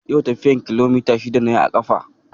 Yau tafiyar kilomita shida na yi a ƙafa